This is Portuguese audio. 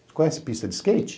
Você conhece pista de skate?